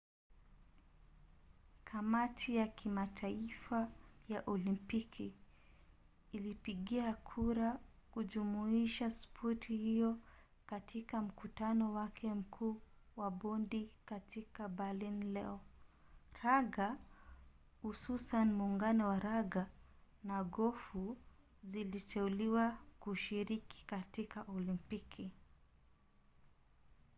kamati ya kimataifa ya olimpiki ilipigia kura kujumuisha spoti hiyo katika mkutano wake mkuu wa bodi katika berlin leo. raga hususan muungano wa raga na gofu ziliteuliwa kushiriki katika olimpiki